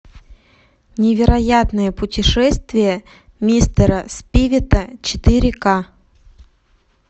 невероятное путешествие мистера спивета четыре ка